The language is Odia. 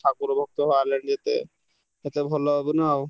ଠାକୁର ଭକ୍ତ ବାହାରିଲେଣି ଯେତେ ସେତେ ଭଲ ହବ ନା ଆଉ।